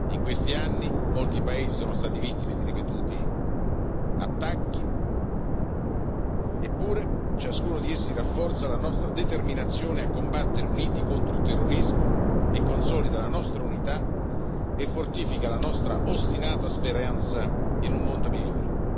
In questi anni molti paesi sono stati vittime di ripetuti attacchi eppure, ciascuno di essi rafforza la nostra determinazione a combattere uniti il terrorismo e consolida la nostra unità e fortifica la nostra ostinata speranza in un mondo migliore.